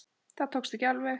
Það tókst ekki alveg.